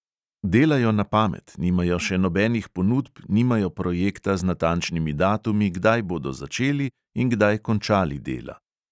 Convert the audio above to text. Delajo na pamet, nimajo še nobenih ponudb, nimajo projekta z natančnimi datumi, kdaj bodo začeli in kdaj končali dela.